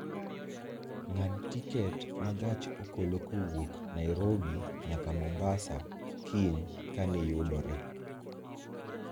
ng'ad tiket ma gach okolokowuok nairobi nyaka mombasa kiny ka ni yudore